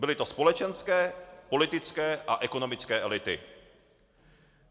Byly to společenské, politické a ekonomické elity.